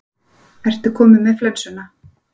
Ertu kominn með flensuna?